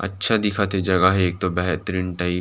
अच्छा दिखथे जगह हे एक तो बेहतरीन टाइप --